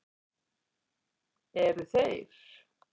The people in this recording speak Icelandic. Eru þeir